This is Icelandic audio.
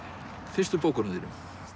fyrstu bókunum þínum